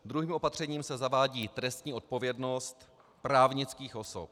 Druhým opatřením se zavádí trestní odpovědnost právnických osob.